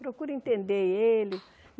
Procure entender ele.